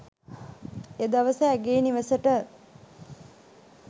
එදවස ඇගේ නිවෙසට